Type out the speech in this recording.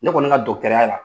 Ne kɔni ka la